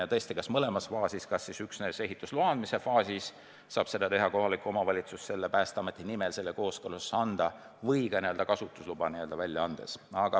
Ja tõesti, kas üksnes ehitusloa andmise faasis saab kooskõlastuse anda kohalik omavalitsus Päästeameti nimel või ka kasutusluba välja andes?